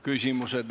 Küsimused.